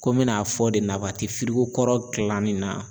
Ko n bɛna fɔ de naba tɛ diriko kɔrɔ kilanni na.